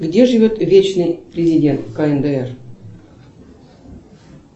где живет вечный президент кндр